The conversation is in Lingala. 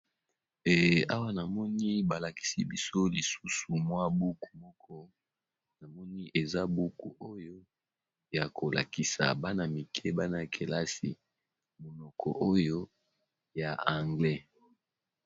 Awa namoni balakisi biso lisusu mwa buku moko namoni eza buku oyo ya kolakisa bana mike bana kelasi monoko oyo ya anglais.